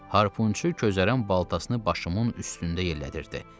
Harpunçu közərən baltasını başımın üstündə yellədirdi.